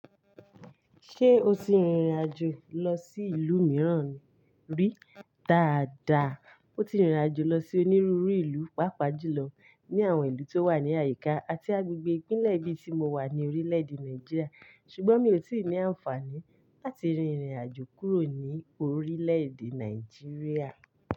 Ṣé o ti rìnrìn àjò lọ sí ìlú mìíràn rí? Dàada, mo ti rìnrìn àjò lọ sí onírúurú ìlú, pàápàá jùlọ ní àwọn ìlú tó wà ní àyíká àti agbègbè ìpínlẹ̀ bí tí mo wà ní orílẹ̀-èdè Nàìjíríà. Ṣùgbọ́n mi ò tíì ní àǹfààní láti rìnrìn àjò kúrò ní orílẹ̀-èdè Nàìjíríà.